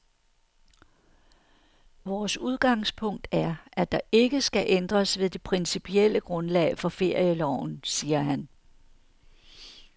Vores udgangspunkt er, at der ikke skal ændres ved det principielle grundlag for ferieloven, siger han.